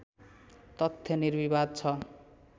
तथ्य निर्विवाद छ